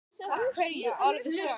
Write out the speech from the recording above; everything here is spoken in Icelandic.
Af hverju alveg strax?